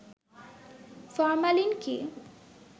formalin কি